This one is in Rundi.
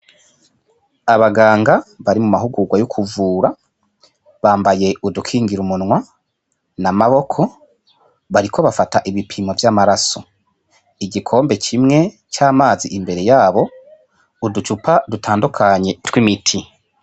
Abaganga bari muma hukugwa yo kuvura bambaye udukingirumunwa n' amaboko bariko bafata ibipimo vy' amaraso igikombe kimwe c' amazi imbere yabo uducupa dutandukanye tw' imiti.